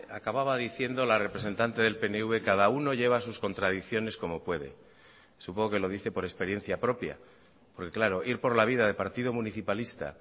acababa diciendo la representante del pnv cada uno lleva sus contradicciones como puede supongo que lo dice por experiencia propia porque claro ir por la vida de partido municipalista